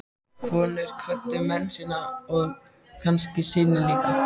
Konur kvöddu menn sína og kannski syni líka.